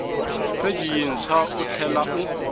pheji yintshwa u tlhela u